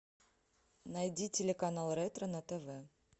найди телеканал ретро на тв